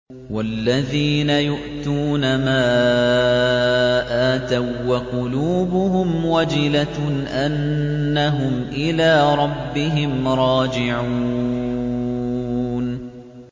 وَالَّذِينَ يُؤْتُونَ مَا آتَوا وَّقُلُوبُهُمْ وَجِلَةٌ أَنَّهُمْ إِلَىٰ رَبِّهِمْ رَاجِعُونَ